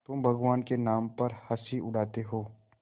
तुम भगवान के नाम पर हँसी उड़ाते हो